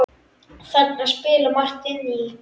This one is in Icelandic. Þarna spilar margt inn í.